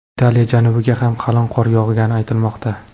Italiya janubiga ham qalin qor yog‘gani aytilmoqda.